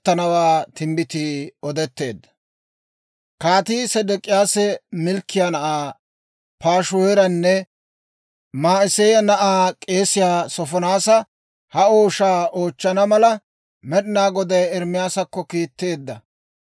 Kaatii Sedek'iyaasi Malkkiyaa na'aa Paashihuuranne Ma'iseeya na'aa k'eesiyaa Soofonaasa ha ooshaa oochchana mala, Med'inaa Goday Ermaasakko kiitteedda.